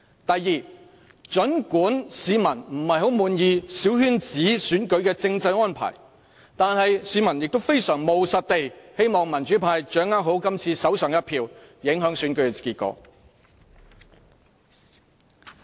第二，儘管市民不太滿意小圈子選舉的政制安排，但市民亦非常務實地，希望民主派掌握好今次手上的一票，影響選舉的結果。